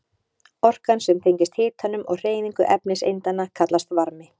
Orkan sem tengist hitanum og hreyfingu efniseindanna kallast varmi.